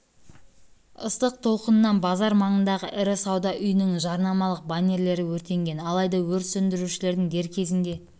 ыстық толқынынан базар маңындағы ірі сауда үйінің жарнамалық баннерлері өртенген алайда өрт сөндірушілердің дер кезінде